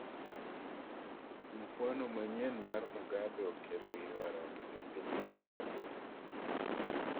Mufwano manyien mar Mugabe okelo ywaruok epiny Zimbabwe